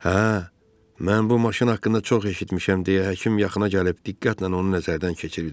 Hə, mən bu maşın haqqında çox eşitmişəm, deyə həkim yaxına gəlib diqqətlə onu nəzərdən keçirdi.